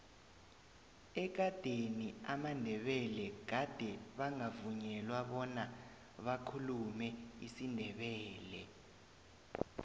ekadeni amandebele gade bangavunyelwa bona bakhulume isindebele